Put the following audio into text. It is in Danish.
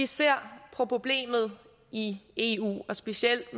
ser på problemet i eu og specielt